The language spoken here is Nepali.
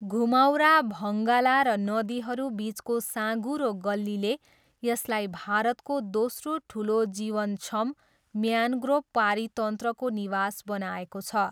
घुमाउरा भङ्गाला र नदीहरूबिचको साँघुरो गल्लीले यसलाई भारतको दोस्रो ठुलो जीवनक्षम म्यान्ग्रोभ पारितन्त्रको निवास बनाएको छ।